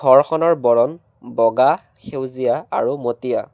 ঘৰখনৰ বৰণ বগা সেউজীয়া আৰু মটীয়া।